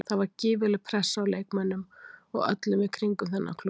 Það var gífurleg pressa á leikmönnum og öllum í kringum þennan klúbb.